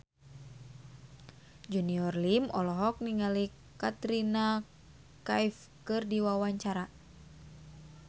Junior Liem olohok ningali Katrina Kaif keur diwawancara